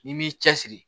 N'i m'i cɛsiri